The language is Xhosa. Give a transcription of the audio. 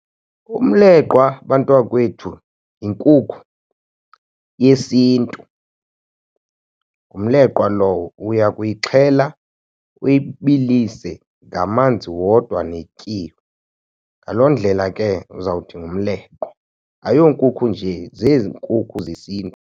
Umleqwa, bantwakwethu, yinkukhu yesiNtu ngumleqwa lowo. Uya kuyixhela, uyibilise ngamanzi wodwa netyiwa, ngaloo ndlela ke uzawuthi ngumleqwa. Ayonkukhu njee. Zezi nkukhu zesiNtu.